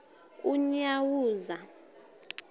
unyawuza